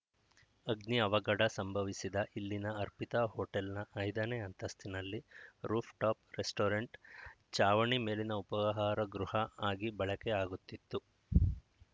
ಅಗ್ನಿ ಅವಘಡ ಸಂಭವಿಸಿದ ಇಲ್ಲಿನ ಅರ್ಪಿತಾ ಹೋಟೆಲ್‌ನ ಐದನೇ ಅಂತಸ್ತಿನಲ್ಲಿ ರೂಫ್‌ಟಾಪ್‌ ರೆಸ್ಟೋರೆಂಟ್‌ ಚಾವಣಿ ಮೇಲಿನ ಉಪಾಹಾರ ಗೃಹ ಆಗಿ ಬಳೆಕೆ ಆಗುತ್ತಿತ್ತು